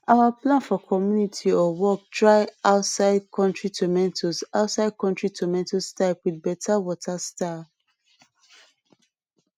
our plan for community or work try outside country tomatoes outside country tomatoes type with better water style